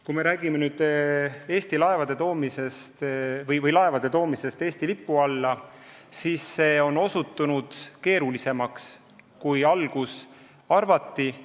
Kui me räägime Eesti kaubalaevade toomisest Eesti lipu alla, siis see on osutunud keerulisemaks, kui arvati.